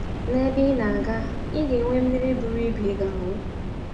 N’ebe ị na - aga, ị ga - enwe mmiri buru ibu ị ga - aṅụ! ”